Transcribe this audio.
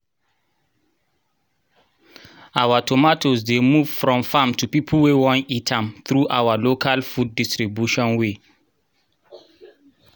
our tomatoes dey move from farm to people wey won eat am through our local food distribution way